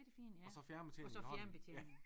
Og så fjernbetjeningen i hånden ja